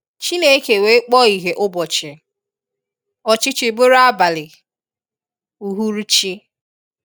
Chineke wee kpọọ ihe ubọchi, ọchichiri bụrụ abali/ụhuru chi.